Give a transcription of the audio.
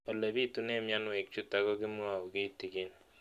Ole pitune mionwek chutok ko kimwau kitig'�n